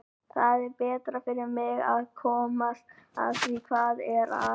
Það er betra fyrir mig að komast að því hvað er að.